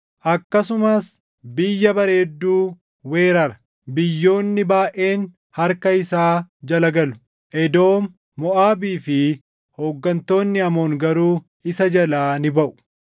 Akkasumas Biyya Bareedduu weerara. Biyyoonni baayʼeen harka isaa jala galu; Edoom, Moʼaabii fi hooggantoonni Amoon garuu isa jalaa ni baʼu.